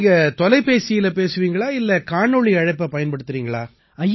நீங்க தொலைபேசியில பேசுவீங்களா இல்லை காணொளி அழைப்பை பயன்படுத்தறீங்களா